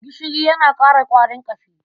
Gishiri yana ƙara ƙwarin ƙashi.